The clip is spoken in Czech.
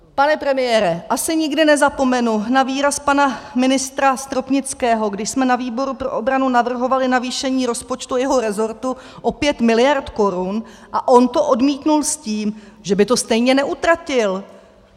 Pane premiére, asi nikdy nezapomenu na výraz pana ministra Stropnického, když jsme na výboru pro obranu navrhovali navýšení rozpočtu jeho rezortu o 5 miliard korun a on to odmítl s tím, že by to stejně neutratil.